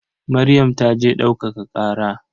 Maryam ta je ɗaukaka ƙara.